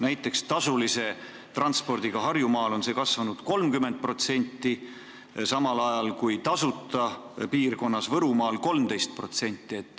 Näiteks, tasulise transpordiga Harjumaal on see kasvanud 30%, samal ajal kui tasuta piirkonnas Võrumaal 13%.